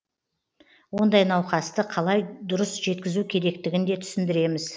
ондай науқасты қалай дұрыс жеткізу керектігін де түсіндіреміз